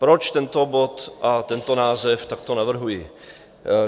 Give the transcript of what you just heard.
Proč tento bod a tento název takto navrhuji?